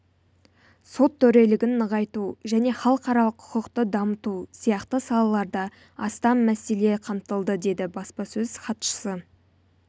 сот төрелігін нығайту және халықаралық құқықты дамыту сияқты салаларда астам мәселе қамтылды деді баспасөз хатшысы